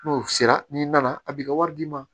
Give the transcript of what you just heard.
N'o sera n'i nana a b'i ka wari d'i ma